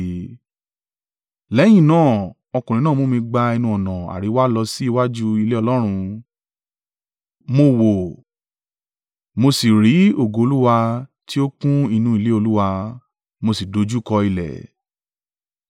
Lẹ́yìn náà, ọkùnrin náà mú mi gba ẹnu-ọ̀nà àríwá lọ sí iwájú ilé Ọlọ́run. Mo wò ó mo sì rí ògo Olúwa tí ó kún inú ilé Olúwa, mo sì dojúkọ ilẹ̀.